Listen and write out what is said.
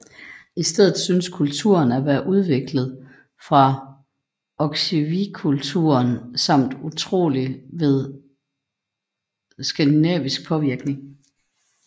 I stedet synes kulturen at være udviklet fra Oksywiekulturen samt trolig ved skandinavisk påvirkning